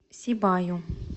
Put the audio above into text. сибаю